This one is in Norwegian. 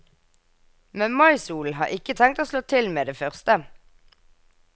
Men maisolen har ikke tenkt å slå til med det første.